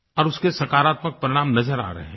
और उसके सकारात्मक परिणाम नज़र आ रहे हैं